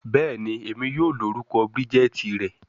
Bẹẹni, Emi yoo lorukọ Bridget rẹ